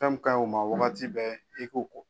Fɛn mun ka ɲi u ma wagati bɛɛ i k'u ko.